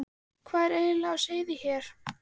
Hvað var eiginlega á seyði hér?